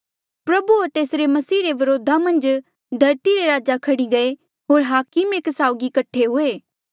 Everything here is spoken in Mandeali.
प्रभु होर तेसरे मसीह रे व्रोधा मन्झ धरती रे राजा खह्ड़ी गये होर हाकम एक साउगी कठे हुए